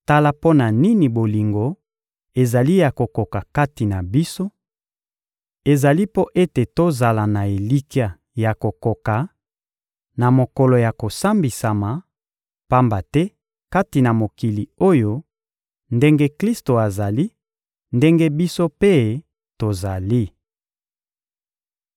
Tala mpo na nini bolingo ezali ya kokoka kati na biso: ezali mpo ete tozala na elikya ya kokoka na mokolo ya kosambisama; pamba te kati na mokili oyo, ndenge Klisto azali, ndenge biso mpe tozali.